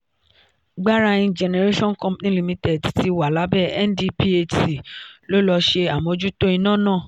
gbarain generation company limited tí wà lábẹ ndphc ló ló ṣe àmójútó iná ná.